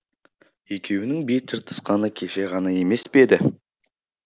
екеуінің бет жыртысқаны кеше ғана емес пе еді